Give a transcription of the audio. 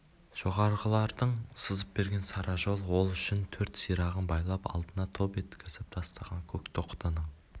жоғарыдағылардың сызып берген сара жол ол үшін төрт сирағын байлап алдына топ еткізіп тастаған көк тоқтының